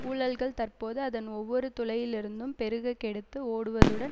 ஊழல்கள் தற்போது அதன் ஒவ்வொரு துளையிலிருந்தும் பெருக கெடுத்து ஓடுவதுடன்